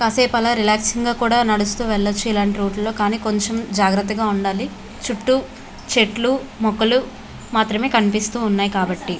కాసేపు అలా రిలేక్సింగ్ గా కూడ నడుస్తూ వెళ్లొచ్చు ఇలాంటి రూట్ లో కానీ కొంచెం జాగ్రత్తగా ఉండాలి. చుట్టూ చెట్లు మొక్కలు మాత్రమే కనిపిస్తూ ఉన్నాయి కాబట్టి.